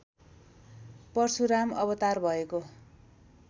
परशुराम अवतार भएको